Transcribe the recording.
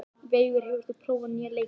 Veigur, hefur þú prófað nýja leikinn?